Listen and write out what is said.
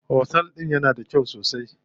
Otel din yana da kyau sosai.